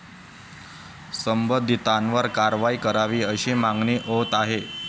संबंधितांवर कारवाई करावी, अशी मागणी होत आहे.